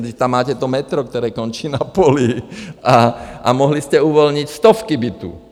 Vždyť tam máte to metro, které končí na poli, a mohli jste uvolnit stovky bytů.